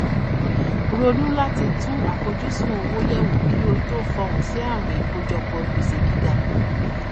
ronú láti tún àfojúsùn owó yẹwò kí o tó fohùn sí àwìn ìkójọpọ gbèsè gíga